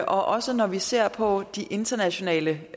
også når vi ser på de internationale